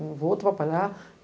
Eu vou trabalhar.